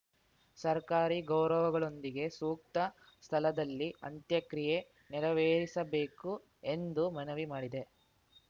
ಸರ್ಕಾರಿ ಗೌರವಗಳೊಂದಿಗೆ ಸೂಕ್ತ ಸ್ಥಳದಲ್ಲಿ ಅಂತ್ಯಕ್ರಿಯೆ ನೆರವೇರಿಸಬೇಕು ಎಂದು ಮನವಿ ಮಾಡಿದ್ದೆ